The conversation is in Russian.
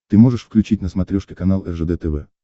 ты можешь включить на смотрешке канал ржд тв